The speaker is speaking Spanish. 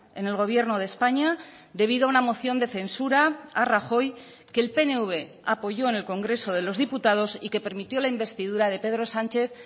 en el gobierno de españa debido a una moción de censura a rajoy que el pnv apoyó en el congreso de los diputados y que permitió la investidura de pedro sánchez